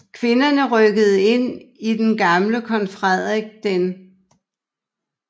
Kvinderne rykkede ind i den gamle Kong Frederik d